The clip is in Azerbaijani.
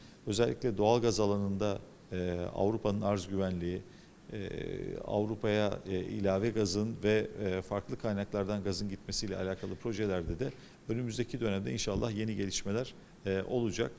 Xüsusilə təbii qaz sahəsində eee Avropanın təminat təhlükəsizliyi, eee Avropaya əlavə qazın və eee fərqli mənbələrdən qazın getməsi ilə bağlı layihələrdə də qarşıdakı dövrdə inşallah yeni inkişafılar eee olacaq.